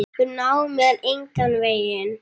Þau ná mér engan veginn.